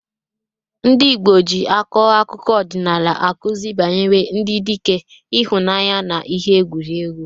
Ndị Igbo ji akọ akụkọ ọdịnala akụzi banyere ndị dike, ịhụnanya, na ihe egwuregwu.